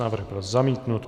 Návrh byl zamítnut.